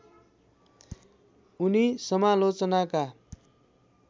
उनी समालोचनाका